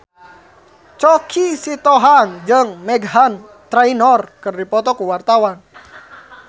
Choky Sitohang jeung Meghan Trainor keur dipoto ku wartawan